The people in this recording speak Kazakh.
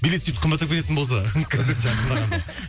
билет сөйтіп қымбаттап кететін болса